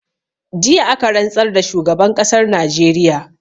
Jiya aka rantsar da shugaban ƙasar najeriya